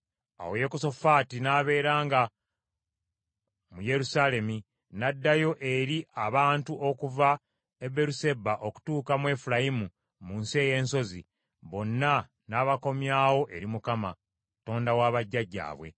Awo Yekosafaati n’abeeranga mu Yerusaalemi, n’addayo eri abantu okuva e Beeruseba okutuuka mu Efulayimu mu nsi ey’ensozi, bonna n’abakomyawo eri Mukama , Katonda wa bajjajjaabwe.